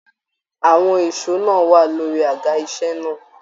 Àwọn èsó náà wà lórí àga iṣẹ náà.